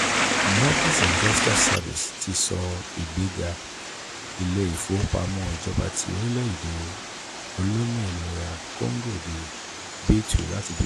moody's investors service ti sọ ìgbéga ilé-ìfowópamọ́ ìjọba ti orílẹ̀-èdè olómìnira congo di b two láti b one